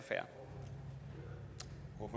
og